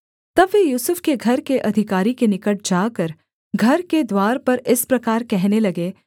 तब वे यूसुफ के घर के अधिकारी के निकट जाकर घर के द्वार पर इस प्रकार कहने लगे